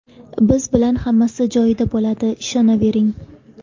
Biz bilan hammasi joyida bo‘ladi, ishonavering.